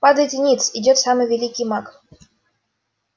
падайте ниц идёт самый великий маг